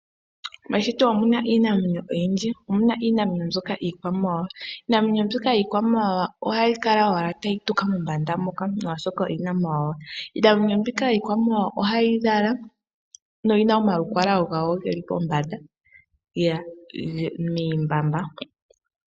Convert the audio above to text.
Meshito omu na iinamwenyo oyindji. Omu na iinamwenyo mbyoka yiikwamawawawa. Iinamwenyo mbyoka yiikwamawawa ohayi kala owala tayi tuka mombanda moka, molwashoka oyi na omawawa. Iinamwenyo mbika iikwamawawa ohayi lala noyi na omalukalwa gawo ge li pombanda miihandhila.